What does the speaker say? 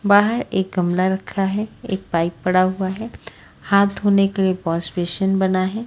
बाहर एक गमला रखा है एक पाइप पड़ा हुआ है हाथ धोने के लिए वॉशबेसिन बना हैं।